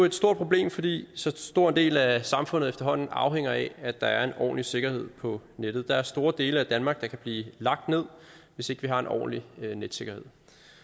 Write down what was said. et stort problem fordi så stor en del af samfundet efterhånden afhænger af at der er en ordentlig sikkerhed på nettet der er store dele af danmark der kan blive lagt ned hvis ikke vi har en ordentlig netsikkerhed